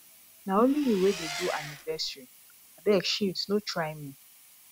na only you wey dey do anniversary abeg shift no try me